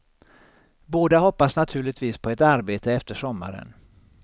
Båda hoppas naturligtvis på ett arbete efter sommaren.